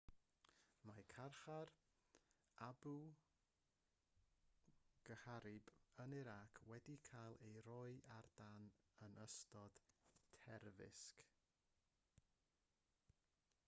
mae carchar abu ghraib yn irac wedi cael ei roi ar dân yn ystod terfysg